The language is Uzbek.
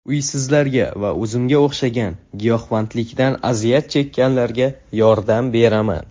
Uysizlarga va o‘zimga o‘xshagan giyohvandlikdan aziyat chekkanlarga yordam beraman.